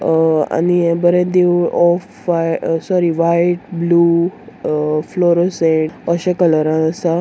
ओ आनी हे बरे देवुळ off white sorry white blue uh fluorescent अशे कलरान आसा.